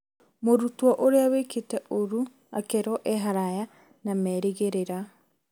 Mũrutwo ũrĩa wĩkĩte ũru akerwo e haraya na meerĩgĩrĩra